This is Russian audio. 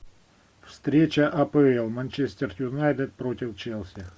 встреча апл манчестер юнайтед против челси